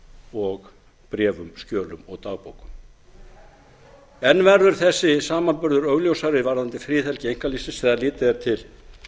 og bréfum skjölum og dagbókum enn verður þessi samanburður augljósari varðandi friðhelgi einkalífsins þegar litið er til